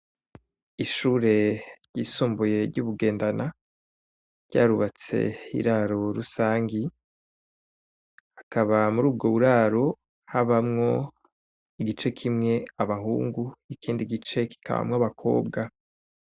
Ishure ryisumbuye ry'ubugendana ryarubatse iraro rusangi akaba muri ubwo buraro habamwo igice kimwe abahungu ikindi gice kikabamwo abakobwa.